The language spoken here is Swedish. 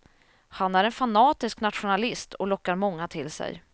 Han är en fanatisk nationalist och lockar många till sig.